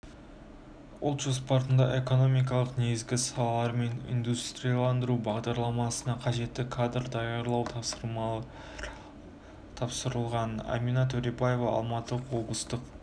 ұлт жоспарында экономиканың негізгі салалары мен индустрияландыру бағдарламасына қажетті кадрлар даярлау тапсырылған әмина төребаева алматы облыстық